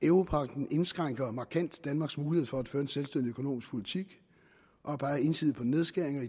europagten indskrænker markant danmarks mulighed for at føre en selvstændig økonomisk politik og peger ensidigt på nedskæringer